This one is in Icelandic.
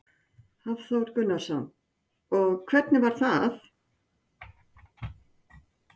Hafþór Gunnarsson: Og hvernig var það?